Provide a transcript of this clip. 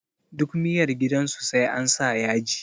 Duk miyar gidan su sai ansa yaji